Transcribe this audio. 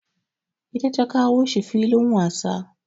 Ita ta kawo shi filin wasa.